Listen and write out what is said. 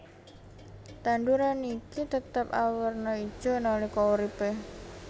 Tanduran iki tetep awerna ijo nalika uripe